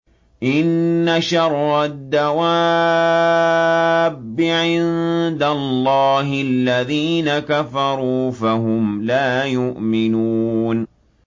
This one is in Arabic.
إِنَّ شَرَّ الدَّوَابِّ عِندَ اللَّهِ الَّذِينَ كَفَرُوا فَهُمْ لَا يُؤْمِنُونَ